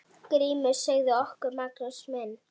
GRÍMUR: Segðu okkur, Magnús minn!